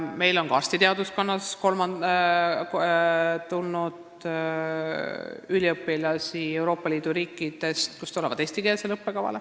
Meil on ka arstiteaduskonda eestikeelsele õppekavale tulnud üliõpilasi Euroopa Liidu riikidest.